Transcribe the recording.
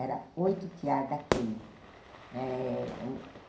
Era oito tear daquilo. Eh